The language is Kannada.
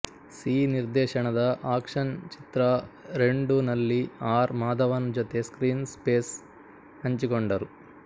ಸಿ ನಿರ್ದೇಶಣದ ಆಕ್ಷನ್ ಚಿತ್ರ ರೆಂಡುನಲ್ಲಿ ಆರ್ ಮಾಧವನ್ ಜೊತೆ ಸ್ಕ್ರೀನ್ ಸ್ಪೇಸ್ ಹಂಚಿಕೊಂಡರು